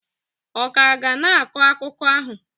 ọ ka ga na-akọ akụkọ ahụ?